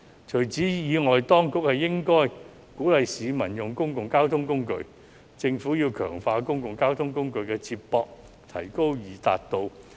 除此之外，當局應鼓勵市民使用公共交通工具，強化公共交通工具的接駁，提高易達度。